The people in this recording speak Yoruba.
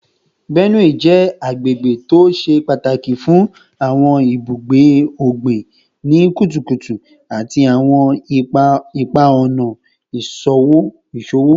Benue jẹ agbegbe to ṣe pataki fun awọn ibugbe ogbin ni kutukutu ati awọn ipa-ọna iṣowo